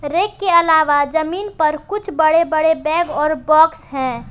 Rack के अलावा जमीन पर कुछ बड़े बड़े बैग और बॉक्स है।